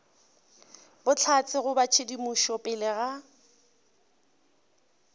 bohlatse goba tshedimošo pele ga